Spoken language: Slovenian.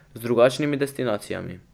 Z drugačnimi destinacijami.